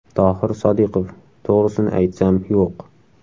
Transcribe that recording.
Tohir Sodiqov: To‘g‘risini aytsam, yo‘q.